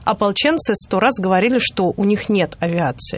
ополченцы сто раз говорили что у них нет авиации